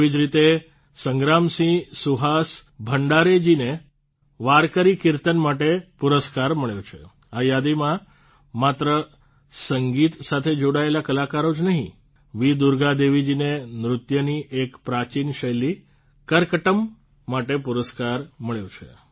તેવી જ રીતે સંગ્રામસિંહ સુહાસ ભંડારેજીને વારકરી કીર્તન માટે પુરસ્કાર મળ્યો છે આ યાદીમાં માત્ર સંગીત સાથે જોડાયેલ કલાકારો જ નહિં વી દુર્ગા દેવીજીને નૃત્યની એક પ્રાચીન શૈલી કરકટ્ટમ માટે પુરસ્કાર મળ્યો છે